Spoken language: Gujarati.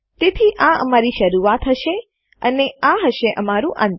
તેથી આ અમારી શરૂઆત હશે અને આ હશે અમારું અંત